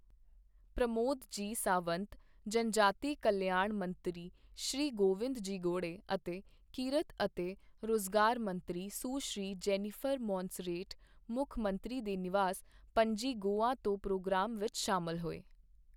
ਪ੍ਰਮੋਦ ਜੀ ਸਾਵੰਤ, ਜਨਜਾਤੀ ਕਲਿਆਣ ਮੰਤਰੀ ਸ਼੍ਰੀ ਗੋਵਿੰਦ ਜੀ ਗੌੜੇ ਅਤੇ ਕਿਰਤ ਅਤੇ ਰੁਜ਼ਗਾਰ ਮੰਤਰੀ ਸੁਸ਼੍ਰੀ ਜੈਨੀਫ਼ਰ ਮੌਨਸਰੇਟ ਮੁੱਖ ਮੰਤਰੀ ਦੇ ਨਿਵਾਸ, ਪੱਣਜੀ, ਗੋਆ ਤੋਂ ਪ੍ਰੋਗਰਾਮ ਵਿਚ ਸ਼ਾਮਲ ਹੋਏ।